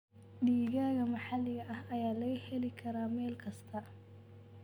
Digaagga maxalliga ah ayaa laga heli karaa meel kasta.